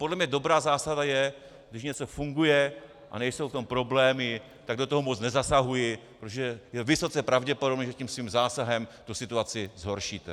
Podle mě dobrá zásada je, když něco funguje a nejsou v tom problémy, tak do toho moc nezasahuji, protože je vysoce pravděpodobné, že tím svým zásahem tu situaci zhoršíte.